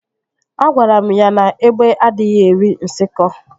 Agwara m ya na égbé adịghị eri nsikọ